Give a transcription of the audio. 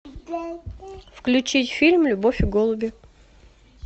включить фильм любовь и голуби